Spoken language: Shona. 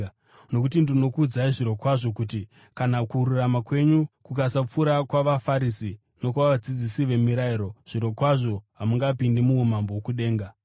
Nokuti ndinokuudzai zvirokwazvo kuti kana kururama kwenyu kukasapfuura kwavaFarisi nokwavadzidzisi vemirayiro, zvirokwazvo hamungapindi muumambo hwokudenga.